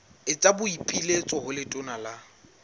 etsa boipiletso ho letona la